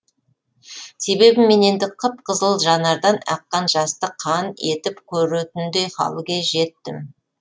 себебі мен енді қып қызыл жанардан аққан жасты қан етіп көретіндей халге жеттім